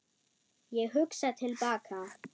Ég hugsa til baka.